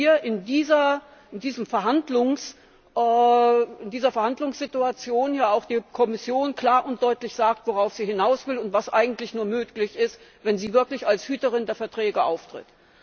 dass hier in dieser Verhandlungssituation auch die Kommission klar und deutlich sagt, worauf sie hinaus will und was eigentlich nur möglich ist, wenn sie wirklich als Hüterin der Verträge auftritt.